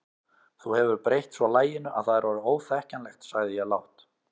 Þú hefur breytt svo laginu að það er orðið óþekkjanlegt sagði ég lágt.